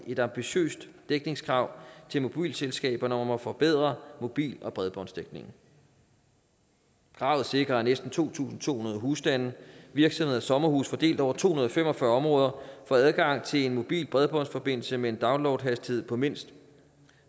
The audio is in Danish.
et ambitiøst dækningskrav til mobilselskaberne om at forbedre mobil og bredbåndsdækningen kravet sikrer at næsten to tusind to hundrede husstande virksomheder og sommerhuse fordelt over to hundrede og fem og fyrre områder får adgang til en mobil bredbåndsforbindelse med en downloadhastighed på mindst